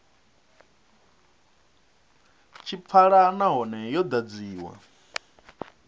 tshi pfala nahone yo ḓadziwa